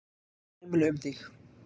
Fer sæmilega um þig?